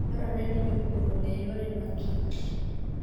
Dwarore ni jopur ong'e yore makich